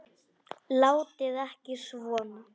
Látið ekki svona.